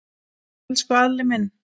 Elsku Alli minn.